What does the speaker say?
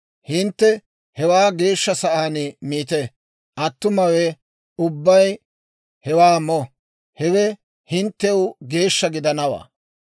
Hintte hewaa geeshsha sa'aan miite; attumawe ubbay hewaa mo; hewe hinttew geeshsha gidanawaa.